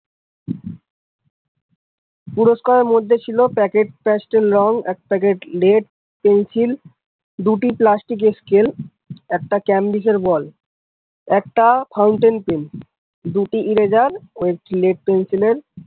পুরষ্কার এর মধ্যে ছিল packet pastel রঙ এক packet lead pencil দুটি plastic এর scale একটা camdic এর ball, একটা fountain pen দুটো eraser ও lead pencil এর।